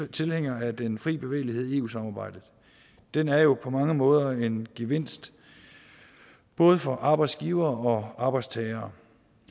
tilhænger af den fri bevægelighed i eu samarbejdet den er jo på mange måder en gevinst både for arbejdsgivere og arbejdstagere